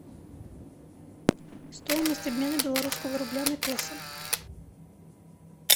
стоимость обмена белорусского рубля на песо